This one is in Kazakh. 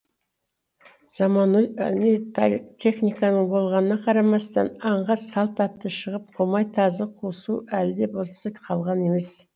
заманауи техниканың болғанына қарамастан аңға салт атты шығып құмай тазы қосу әлі де болса қалған емес